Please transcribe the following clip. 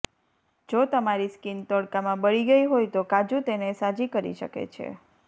જો તમારી સ્કીન તડકામાં બળી ગઈ હોય તો કાજુ તેને સાજી કરી શકે છે